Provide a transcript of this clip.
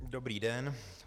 Dobrý den.